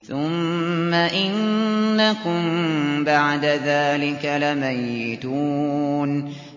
ثُمَّ إِنَّكُم بَعْدَ ذَٰلِكَ لَمَيِّتُونَ